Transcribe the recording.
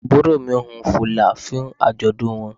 Àbúrò mi wun fìlà fún àjọ̀dún wọn.